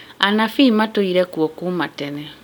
Anabii matũire kuo kuma tene